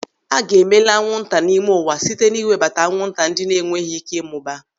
A ga-emela anwụnta n'ime ụwa site n'iwebata anwụnta ndị na-enweghị ị́ké ị mụbaa.